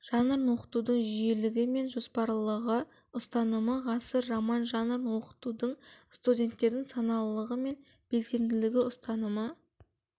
жанрын оқытудың жүйелігі мен жоспарлылығы ұстанымы ғасыр роман жанрын оқытудың студенттердің саналылығы мен белсенділігі ұстанымы